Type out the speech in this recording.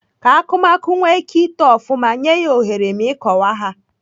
Ka akụmakụ nwee ike ito ofụma, nyee ha ohere ma ịkọwa ha.